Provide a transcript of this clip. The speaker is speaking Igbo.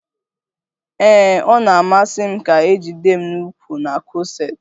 Ee, ọ na-amasi m ka a jide m n'ukwu na kọseti